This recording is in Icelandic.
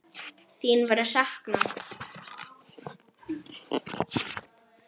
Þín verður saknað.